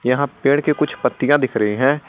यहां पेड़ के कुछ पत्तियां दिख रहे हैं।